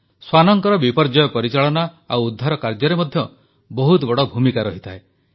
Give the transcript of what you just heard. ଶ୍ୱାନଙ୍କର ବିପର୍ଯ୍ୟୟ ପରିଚାଳନା ଓ ଉଦ୍ଧାର କାର୍ଯ୍ୟରେ ମଧ୍ୟ ବହୁତ ବଡ଼ ଭୂମିକା ରହିଥାଏ